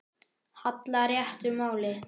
hallar réttu máli.